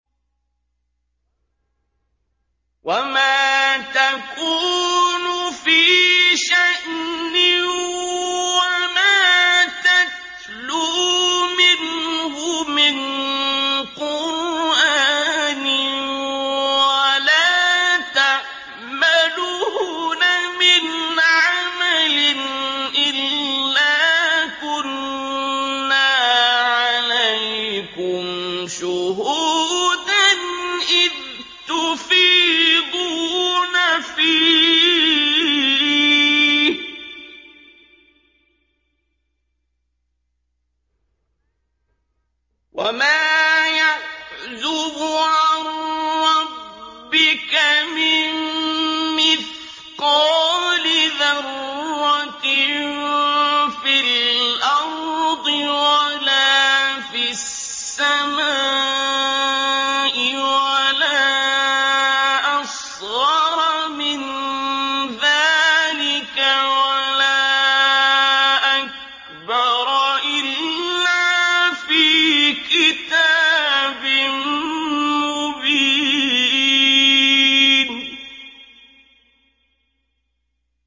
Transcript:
وَمَا تَكُونُ فِي شَأْنٍ وَمَا تَتْلُو مِنْهُ مِن قُرْآنٍ وَلَا تَعْمَلُونَ مِنْ عَمَلٍ إِلَّا كُنَّا عَلَيْكُمْ شُهُودًا إِذْ تُفِيضُونَ فِيهِ ۚ وَمَا يَعْزُبُ عَن رَّبِّكَ مِن مِّثْقَالِ ذَرَّةٍ فِي الْأَرْضِ وَلَا فِي السَّمَاءِ وَلَا أَصْغَرَ مِن ذَٰلِكَ وَلَا أَكْبَرَ إِلَّا فِي كِتَابٍ مُّبِينٍ